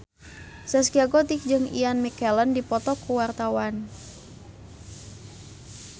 Zaskia Gotik jeung Ian McKellen keur dipoto ku wartawan